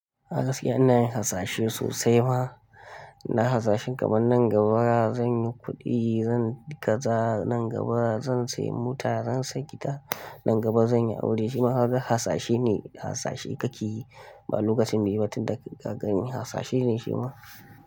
A gaskiya inayin hasashe sosai ma, na hasashin kaman nan gaba zan yi kuɗi, zan kaza, nan gaba zan sayi mota, zan sayi gida, nan gaba zan yi aure shima haka hasashe ne, hasashe kake yi. Ma lokacin bsi yi ba tun da ka gani hasashe ne shi ma.